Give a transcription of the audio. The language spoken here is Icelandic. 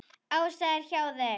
Ása er hjá þeim.